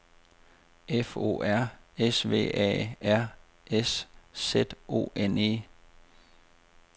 F O R S V A R S Z O N E